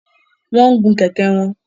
Wọ́n ń gun kẹ̀kẹ́ wọn